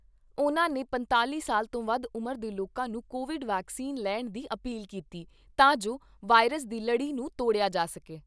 ਉਨ੍ਹਾਂ ਨੇ ਪੰਤਾਲ਼ੀ ਸਾਲ ਤੋਂ ਵੱਧ ਉਮਰ ਦੇ ਲੋਕਾਂ ਨੂੰ ਕੋਵਿਡ ਵੈਕਸੀਨ ਲੈਣ ਦੀ ਅਪੀਲ ਕੀਤੀ ਤਾਂ ਜੋ ਵਾਇਰਸ ਦੀ ਲੜੀ ਨੂੰ ਤੋੜਿਆ ਜਾ ਸਕੇ।